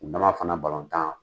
N dama fana balɔntan